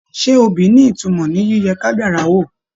Ṣe obì ni ìtumọ̀ ní yíyẹ kádàrá wò?